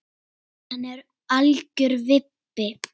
Hann er algjör vibbi.